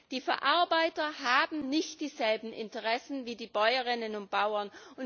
Die Verarbeiter haben nicht dieselben Interessen wie die Bäuerinnen und Bauern.